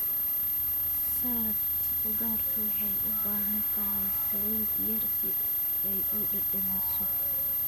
Salad khudaartu waxay u baahan tahay saliid yar si ay u dhadhamiso.